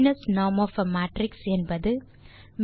Frobenius norm of a matrix என்பது